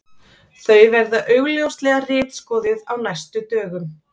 Þau verða augljóslega ritskoðuð á næstu dögum.